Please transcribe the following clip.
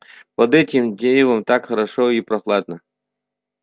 под этим деревом так хорошо и прохладно